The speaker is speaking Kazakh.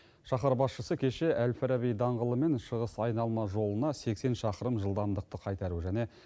шаһар басшысы кеше әл фараби даңғылы мен шығыс айналма жолына сексен шақырым жылдамдықты қайтару және